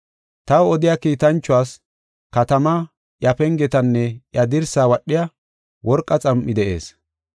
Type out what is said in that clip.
Taw odiya kiitanchuwas, katamaa, iya pengetanne iya dirsaa wadhiya worqa xam7ay de7ees.